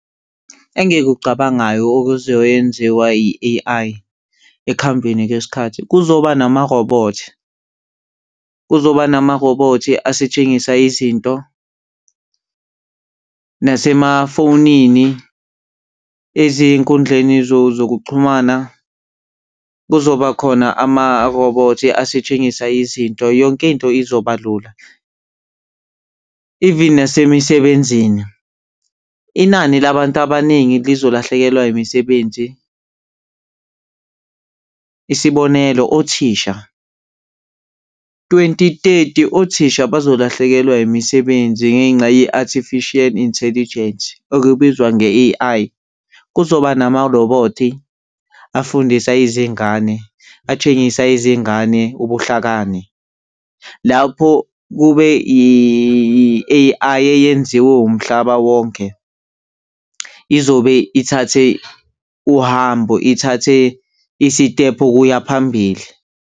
Engikucabangayo okuzoyenziwa yi-A_I ekuhambeni kwesikhathi. Kuzoba nama-robot, kuzoba namarobhothi asetshengisa izinto nasemafonini, ezinkundleni zokuxhumana kuzobakhona amarobhothi asitshengisa izinto, yonkinto izoba lula. Even nasemisebenzini, inani labantu abaningi lizolahlekelwa imisebenzi. Isibonelo othisha, twenty thirty, othisha bazolahlekelwa imisebenzi ngenxa ye-Artificial Intelligence, okubizwa nge-A_I. Kuzoba namarobhothi afundisa izingane, atshengisa izingane ubuhlakani lapho kube i-A_I eyenziwe umhlaba wonke izobe ithathe uhambo, ithathe isitephu ukuya phambili.